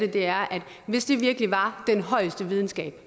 af det er at hvis det virkelig var den højeste videnskab